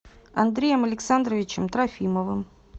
андреем александровичем трофимовым